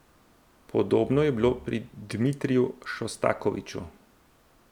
Podobno je bilo pri Dmitriju Šostakoviču.